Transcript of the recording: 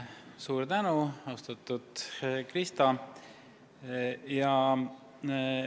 Suur tänu, austatud Krista!